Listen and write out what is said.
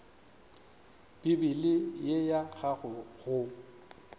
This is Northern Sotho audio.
bibele ye ya gago go